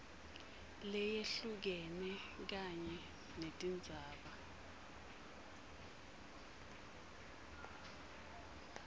leyehlukene kanye netindzaba